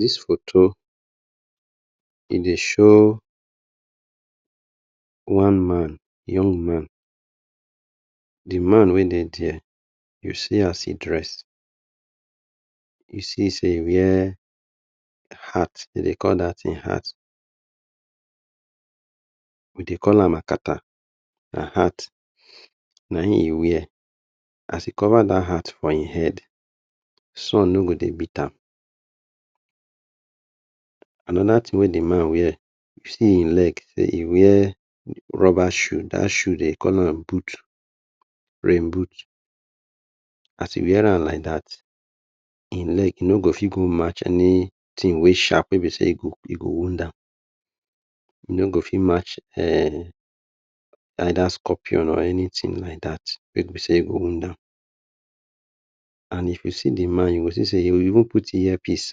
Dis foto e dey show one man young man, the man wey dey dia you see as e dress, e see sey e wear hat, de dey call dat tin hat. We dey call am akata na hat na in e wear. As he kova dat hat for in head sun no go beat am. Anoda tin wey d man wear dat tin na rubber shoe de dey call am boot, rain boot as hin wear am like dat in leg e no go march anytin wey sharp dat tin wey be sey e go wound am either scorpion or anytin go wound am and if you see the man e even put ear pis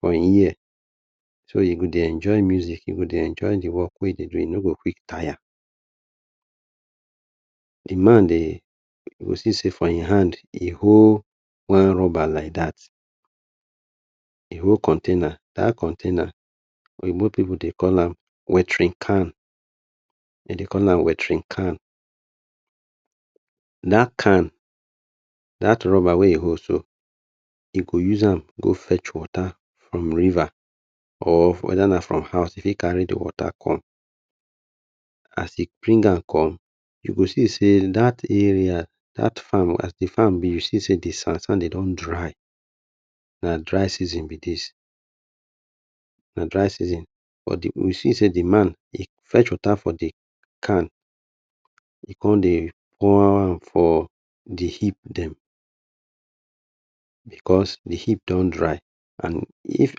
for hin ear so e go dey enjoy music, e go dey enjoy the work wey hin dey do e no go even tire. D man dey you go see sey for hin hand dey hold one ruber like dat, he hold container, that container oyibo pipu dey call am watering can, de dey call am watering can. Dat can, dat rubber wey e hold so, e go use am go fetch water from river, or weda na from house e fit kari the water come. As e bring am come you go see sey dat area, dat farm, as the farm be, you see sey the sand sand de don dry, na dry season be dis. You see sey the man dey fetch water for the can, e con dey pour am for the heap dem, because the heap don dry and if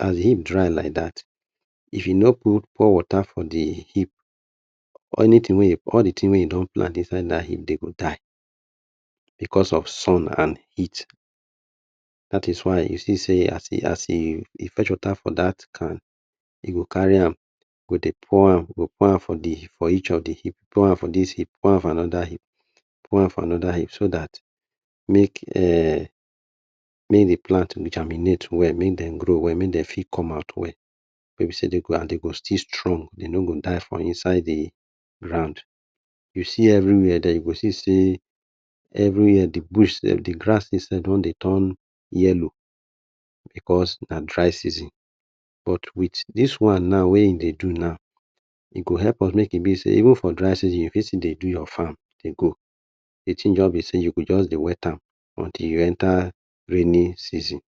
as the heap dry like dat if you no pour water for the heap, all the tin wey you plant inside dat hip de go die, because of sun and heat dat is why you see sey e fech water for dat can, e go kari am por am por am, por am for each of the hip, por am for dis hip, por am for anoda hip, por am for anoda hip so dat make the plant germinate well, make dem grow well, make dem fit come out well wey be sey dem go still strong ,dem no go die for inside the ground. You see every where den you go see every where the grasses dom dey ton yellow because na dry season but with dis one on wey in dey do now, e go help am make e be sey even for dry season, you fit just do your fam dey go, the tin just be sey you go just dey wet am until you enta rainin season.